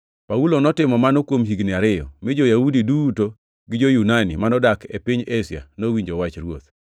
Paulo notimo mano kuom higni ariyo, mi jo-Yahudi duto gi jo-Yunani manodak e piny Asia nowinjo wach Ruoth.